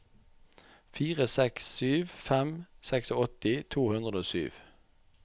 fire seks sju fem åttiseks to hundre og sju